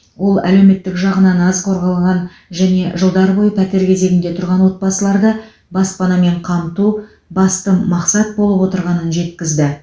ол әлеуметтік жағынан аз қорғалған және жылдар бойы пәтер кезегінде тұрған отбасыларды баспанамен қамту басты мақсат болып отырғанын жеткізді